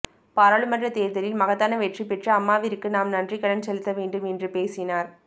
பாராளுமன்ற தேர்தலில் மகத்தான வெற்றி பெற்று அம்மாவிற்கு நாம் நன்றிக்கடன் செலுத்த வேண்டும் என்று பேசினார்